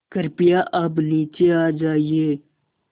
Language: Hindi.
कृपया अब नीचे आ जाइये